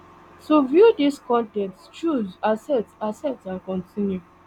to view dis con ten t choose accept accept and continue